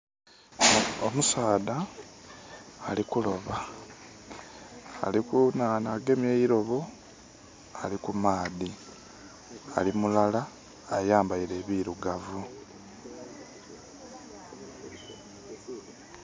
Omusaadha alikuloba ali ku nhandha agemye eirobo ali kumaadhi, ali mulala avaire ebirugavu.